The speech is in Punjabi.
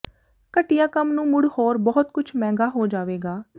ਘਟੀਆ ਕੰਮ ਨੂੰ ਮੁੜ ਹੋਰ ਬਹੁਤ ਕੁਝ ਮਹਿੰਗਾ ਹੋ ਜਾਵੇਗਾ